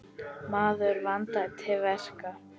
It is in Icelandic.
Maður vandaði til verka.